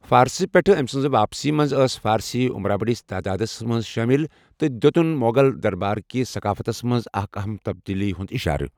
فارسہٕ پیٹھ أمہِ سٕنٛز واپسی منٛز ٲسہِ فارسی عٗمرا بٔڈِس تادادس منز شٲمِل تہٕ دِیُوتٗن مو٘غل درباركِس ثقافتس منٛز اکھ اہم تبدیلی ہٗند اِشارہ ۔